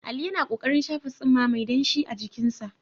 Ali yana ƙoƙarin shafa tsumma mai danshi a jikinsa.